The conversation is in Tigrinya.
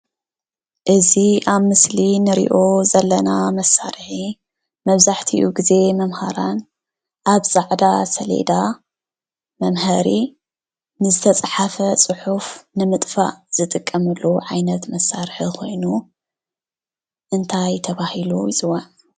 እዚ ኣብ ምስሊ ንርኦ ዘለና መስርሒ መብዛሕትኡ ግዚ መማሃራን ኣብ ፃዕዳ ሰልዳ መምህሪ ንዝተፃሓፈ ፅሑፍ ንምጥፍ ዝጥቀምሉ ዓይነት መሳርሕ ኮይኑ እንታይ ተበሂሉ ይፅዋዒ?